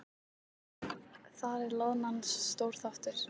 Þar er loðnan stór þáttur.